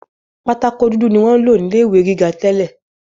Pátákó dúdú ni wọ́n ń lò ní ilé ìwé gíga tẹ́lẹ̀